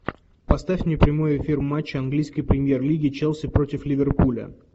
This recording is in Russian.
поставь мне прямой эфир матча английской премьер лиги челси против ливерпуля